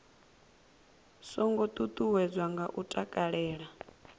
songo ṱuṱuwedzwa nga u takalela